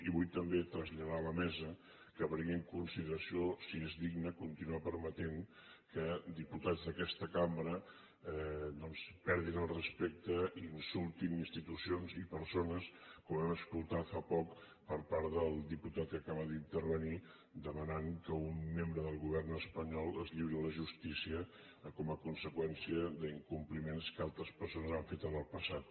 i vull també traslladar a la mesa que prengui en consideració si és digne continuar permetent que diputats d’aquesta cambra doncs perdin el respecte i insultin institucions i persones com hem escoltat fa poc per part del diputat que acaba d’intervenir que ha demanat que un membre del govern espanyol es lliuri a la justícia com a conseqüència d’incompliments que altres persones han fet en el passat